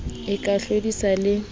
cc e ka hlodisana le